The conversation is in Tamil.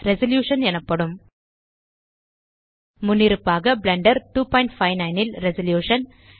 ரெசல்யூஷன் எனப்படும் முன்னிருப்பாக பிளெண்டர் 259 ல் ரெசல்யூஷன்